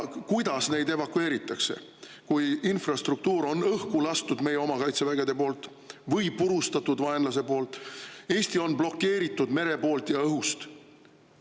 Kuidas neid evakueeritakse, kui infrastruktuur on õhku lastud meie oma kaitsevägede poolt või purustatud vaenlase poolt, Eesti on blokeeritud merelt ja õhust?